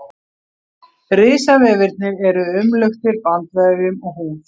Risvefirnir eru umluktir bandvefjum og húð.